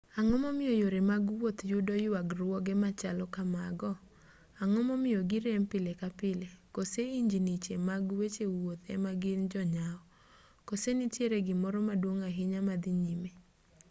ang'o momiyo yore mag wuoth yudo yuagruoge machalo kamago ang'o momiyo girem pile ka pile koso injiniche mag weche wuoth ema gin jonyaw koso nitiere gimoro maduong' ahinya madhi nyime